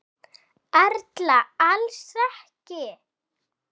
Erla: Alls ekki?